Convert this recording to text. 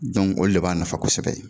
olu de b'a nafa kosɛbɛ.